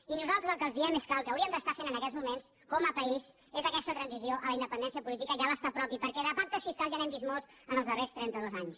i nosaltres el que els diem és que el que hauríem d’estar fent en aquests moments com a país és aquesta transició a la independència política i a l’estat propi perquè de pactes fiscals ja n’hem vist molts en els darrers trentados anys